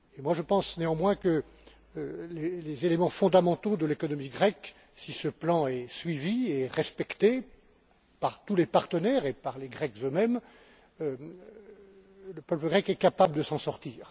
Je pense néanmoins que les éléments fondamentaux de l'économie grecque indiquent que, si ce plan est suivi et respecté par tous les partenaires et par les Grecs eux mêmes, le peuple grec est capable de s'en sortir.